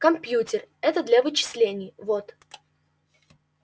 кампьютер это для вычислений вот